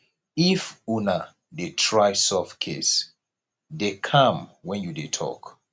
if una dey try solve case dey calm when you dey talk